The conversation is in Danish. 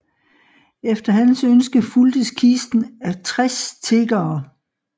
Efter hans ønske fulgtes kisten af 60 tiggere